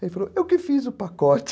Ele falou, eu que fiz o pacote.